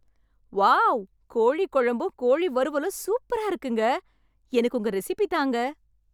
Wow... கோழிக்குழம்பும், கோழி வறுவலும் சூப்பரா இருக்குங்க... எனக்கு உங்க ரெசிபி தாங்க.